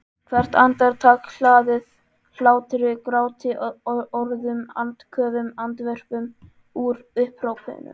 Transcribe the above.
Hvert andartak hlaðið hlátri gráti orðum andköfum andvörpum upphrópunum.